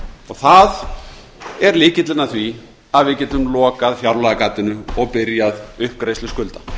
það er lykillinn að því að við getum lokað fjárlagagatinu og byrjað uppgreiðslu skulda